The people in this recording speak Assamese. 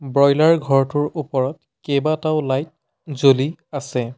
ব্ৰইলাৰ বইলাৰ ঘৰটোৰ ওপৰত কেইবাটাও লাইট জ্বলি আছে।